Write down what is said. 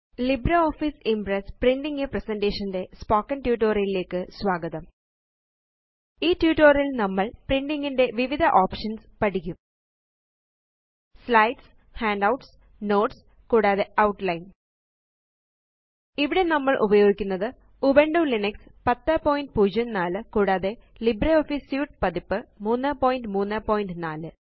LibreOffice Impress printing a presentation ന്റെ spoken tutorial ലേയ്ക്ക് സ്വാഗതം ഈ ട്യൂട്ടോറിയൽ ല് നമ്മള് പ്രിന്റിങ്ങിന്റെ വിവിധ ഒപ്ഷൻസ് പഠിക്കും സ്ലൈഡ്സ് ഹാൻഡൌട്ട്സ് നോട്ട്സ് കൂടാതെ ഔട്ട്ലൈൻ ഇവിടെ നമ്മള് ഉപയോഗിക്കുന്നത് ഉബുണ്ടുലിനക്സ്1004 കൂടാതെ ലിബ്രെ ഓഫീസ് സ്യൂട്ട് പതിപ്പ് 334